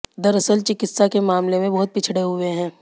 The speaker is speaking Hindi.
दरअसल चिकित्सा के मामले में बहुत पिछड़े हुए हैं